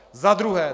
Za druhé.